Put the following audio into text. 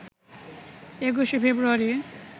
২১শে ফেব্রুয়ারি